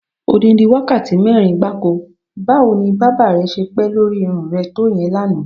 Odidi wákàtí mé̩rin gbáko! Báwo ni bábà re̩ s̩e pé̩ lórí irún re̩ to ìye̩n lánàá?